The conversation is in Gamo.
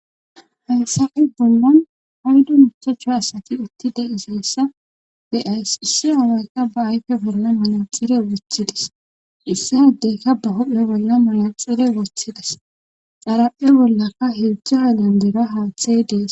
heessae bollan haydu muthacho asati uttide izayssa be ays issi awayka ba ayfe bolla minaxire wothidis issadeyka ba hodhe bolla minaxire woththidas xaraphe bollaka heejzja haylandera haaththey dees